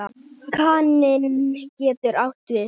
Kaninn getur átt við